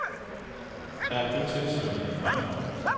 Der er kun tilsluttet en brændeovn.